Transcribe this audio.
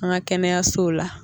An ka kɛnɛyasow la